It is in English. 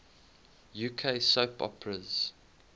uk soap operas